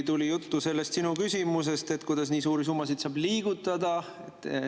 Tuli juttu sellest sinu küsimusest, kuidas nii suuri summasid saab liigutada.